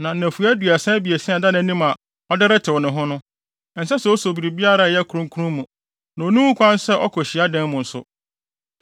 Na nnafua aduasa abiɛsa a ɛda nʼanim a ɔde retew ne ho no, ɛnsɛ sɛ oso biribiara a ɛyɛ kronkron mu na onni ho kwan sɛ ɔkɔ hyiadan mu nso.